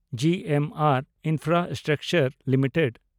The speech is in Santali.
G M R infrastructure limited